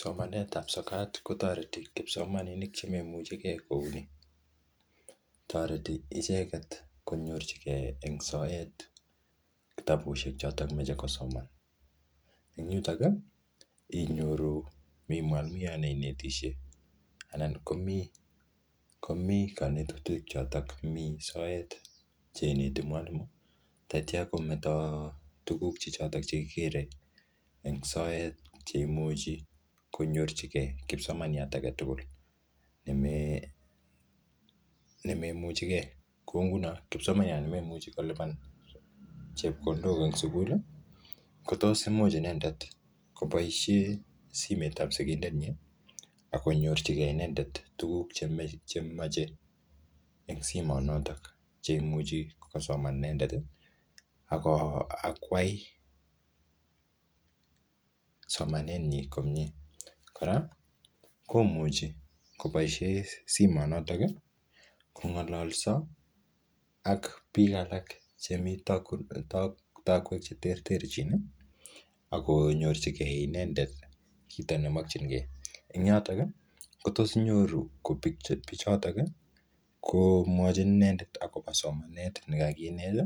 Somanet ap sokat, kotoreti kipsomaninik che memuchikei kouni. Toreti icheket konyorchikei eng soet kitabusiek chotok meche kosoman. Eng yutok, inyoru mi mwalimuiot ne inetisie, anan ko mii-ko mii kanetutik chotok mii soet che ineti mwalimu, tatya kometo tuguk che chotok che kigere eng soet, che imuchi konyorchikei kipsomaniat age tugul neme nememuchigei. Kou nguno kipsomaniat nememuchi kolipan chepkondok eng sukul, kotos imuch inendet koboisie simet ap sigindet nyi, akonyorchikei inendet tuguk chemache eng simot notok, che imuchi kosoman inendet, ako akwai somanet nyii komyee. Kora, komuchi koboisie simot notok, kongalolso ak biik alak che mii tak-taakwek che terterchin, akonyorchikei inendet chito nemakchinkey. Ing yotok, ko tos inyoru ko pi- ko pichotok, komwachin inendet akopo somanet ne kakinet,